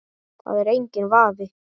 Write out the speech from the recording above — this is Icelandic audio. Það er enginn vafi.